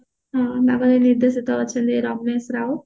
ହୁଁ ଆଉ ନିର୍ଦେଶକ ଅଛନ୍ତି ରମେଶ ରାଉତ